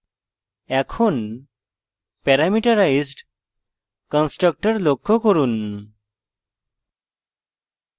এখন parameterized constructor লক্ষ্য করুন